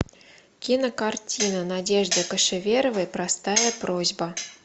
кинокартина надежды кошеверовой простая просьба